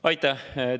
Aitäh!